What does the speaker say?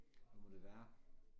Hvad må det være